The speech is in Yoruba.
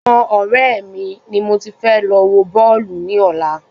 Ọ̀dọ àwọn ọrẹ mi ni mo ti fẹ́ lọ wọ Bọ́ọ̀lù ní ọ̀la